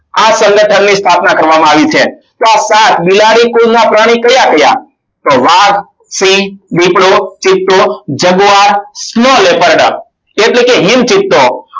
આ સંગઠનની સ્થાપના કરવામાં આવી છે. તો આ સાત બિલાડી કુળના પ્રાણી કયા કયા તો વાઘ સિંહ દિપડો ચિત્તો જગવાર small veper dog એટલે કે હિન ચિત્તો